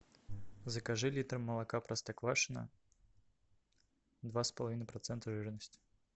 закажи литр молока простоквашино два с половиной процента жирности